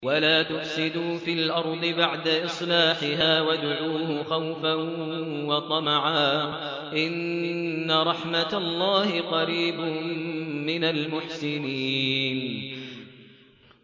وَلَا تُفْسِدُوا فِي الْأَرْضِ بَعْدَ إِصْلَاحِهَا وَادْعُوهُ خَوْفًا وَطَمَعًا ۚ إِنَّ رَحْمَتَ اللَّهِ قَرِيبٌ مِّنَ الْمُحْسِنِينَ